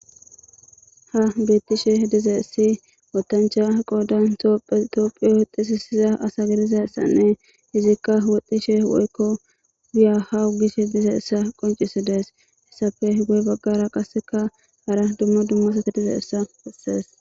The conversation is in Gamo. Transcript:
Ha bettishe dize essi wotancha qoodan tiophiyohexisisiza asa gidizayssanne izikka woxxishe woykko biyahawu gishe dize essa qoncisi dees , hessape goy baggara qasseka hara dummo dummasate dizeessa esees.